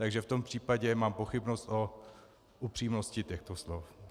Takže v tom případě mám pochybnost o upřímnosti těchto slov.